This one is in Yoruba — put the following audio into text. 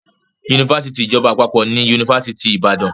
Yunifásitì ìjọba àpapọ̀ ni Yunifásitì Ìbàdàn.